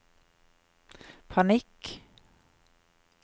panikk